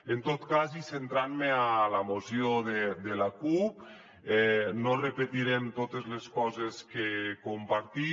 en tot cas i centrant me en la moció de la cup no repetirem totes les coses que compartim